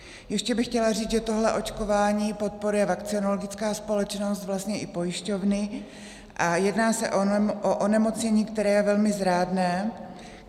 Ještě bych chtěla říct, že tohle očkování podporuje vakcinologická společnost, vlastně i pojišťovny, a jedná se o onemocnění, které je velmi zrádné.